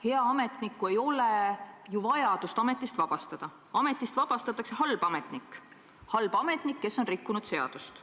Head ametnikku ei ole ju vaja ametist vabastada, ametist vabastatakse halb ametnik – halb ametnik, kes on rikkunud seadust.